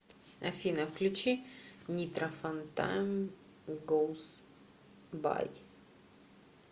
афина включи нитро фан тайм гоус бай